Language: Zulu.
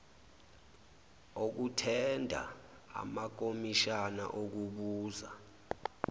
okuthenda amakomishana okubuza